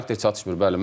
Xarakter çatışmır.